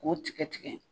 K'o tigɛ tigɛ